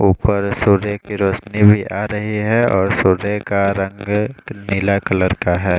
ऊपर सूर्य की रौशनी भी आरही है और सूर्य का रंग नीला कलर का है।